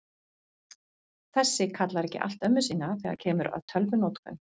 Þessi kallar ekki allt ömmu sína þegar kemur að tölvunotkun.